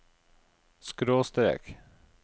skråstrek